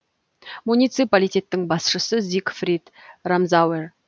муниципалитеттің басшысы зигфрид рамзауэр